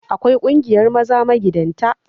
Akwai ƙungiyar maza magidanta